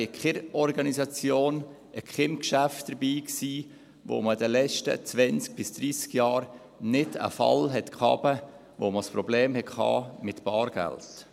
Ich war in keiner Organisation und bei keinem Geschäft dabei, in denen man in den letzten zwanzig bis dreissig Jahren nicht einen Fall hatte, bei dem man ein Problem mit Bargeld hatte.